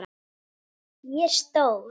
Ég er stór.